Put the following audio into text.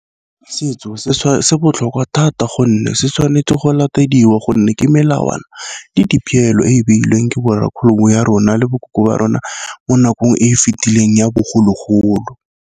Setso se se botlhokwa thata gonne se tshwanetse go latediwa, gonne ke melawana le dipeelo e e beilweng ke ba rona le bo koko ba rona mo nakong e e fetileng ya bogologolo.